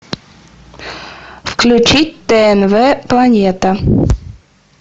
включить тнв планета